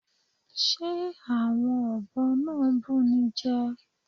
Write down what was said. Ṣe awọn ọbọ na n bunijẹ?